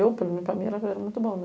Eu, para mim, era muito bom né?